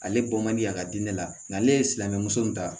Ale bɔ man di a ka di ne la nka ale ye silamɛ muso in ta